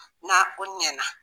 Na o ɲɛna